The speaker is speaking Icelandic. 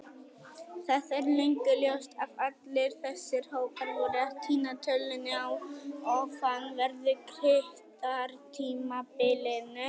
Það er löngu ljóst að allir þessir hópar voru að týna tölunni á ofanverðu Krítartímabilinu.